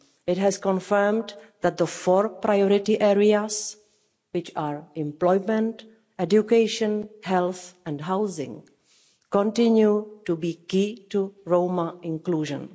It has confirmed that the four priority areas employment, education, health and housing continue to be key to Roma inclusion.